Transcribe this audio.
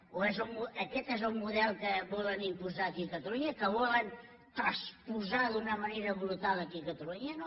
o aquest és el model que volen imposar aquí a catalunya que volen transposar d’una manera brutal aquí a catalunya no